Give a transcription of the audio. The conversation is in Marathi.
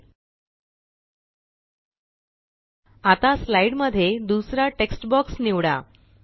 एलटीएलटीपॉसेग्टगत आता स्लाइड मध्ये दुसरा टेक्स्ट बॉक्स निवडा